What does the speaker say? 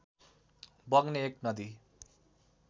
बग्ने एक नदी